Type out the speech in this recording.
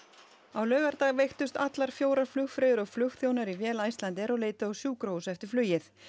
á laugardag veiktust allar fjórar flugfreyjur og flugþjónar í vél Icelandair og leituðu á sjúkrahús eftir flugið